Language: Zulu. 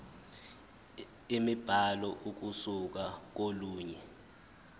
imibhalo ukusuka kolunye